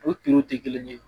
O tɛ kelen ye